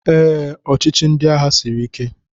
Ee, ọchịchị ndị agha siri ike